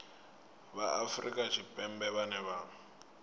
vha afrika tshipembe vhane vha